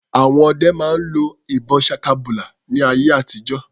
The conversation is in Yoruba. Àwọn ọdẹ máa ń lo ìbọn ṣakabùlà ní ayé àtijó.